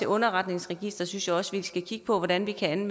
underretningsregisteret synes skal kigge på hvordan vi kan